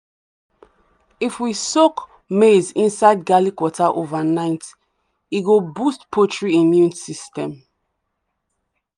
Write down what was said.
if we soak maize inside garlic water overnight e go boost poultry immune system.